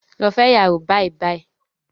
Lọ fẹ́ iyàwó bàìbàì